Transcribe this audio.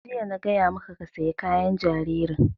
Tun jiya na gaya maka ka saya kayan jaririn!